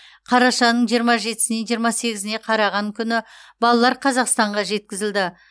қарашаның жиырма жетісінен жиырма сегізіне қараған күні балалар қазақстанға жеткізілді